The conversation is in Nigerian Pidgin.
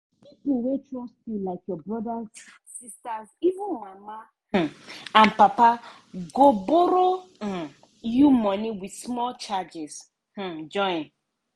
pipo wey trust you like your brothers sisters even mama um and papa—go borrow um you money with small charges um join.